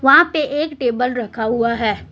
वाँ पे एक टेबल रखा हुआ है।